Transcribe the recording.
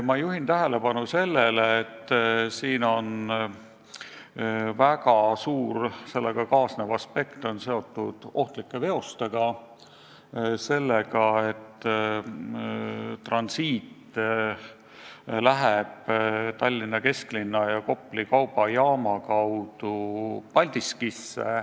Ma juhin tähelepanu sellele, et väga tähtis sellega kaasnev aspekt on seotud ohtlike veostega, sellega, et transiitveosed läbivad Paldiskisse suundudes Tallinna kesklinna ja Kopli kaubajaama.